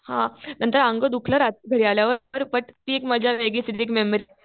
हा. नंतर अंग दुखलं रात्री घरी आल्यावर. बट ती एक मजा वेगळीच येते. ती एक मेमरी